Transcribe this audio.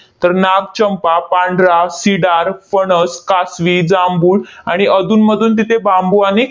तर नाग, चंपा, पांढरा, सिडार, फणस, कासवी, जांभूळ आणि अधूनमधून तिथे बांबू आणि